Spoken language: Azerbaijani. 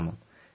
Heç zaman.